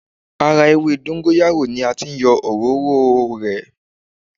Ara ewé dọ́ńgóráyò ni a ti yọ òróró o rẹ̀.